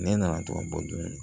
Ne nana to ka bɔ dun